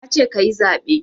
Nace kayi zaɓe